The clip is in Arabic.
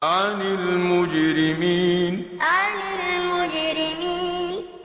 عَنِ الْمُجْرِمِينَ عَنِ الْمُجْرِمِينَ